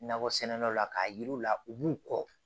Nakɔ sɛnɛlaw la k'a yiri u la u b'u kɔ